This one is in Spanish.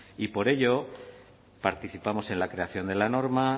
y por ello participamos en la creación de la norma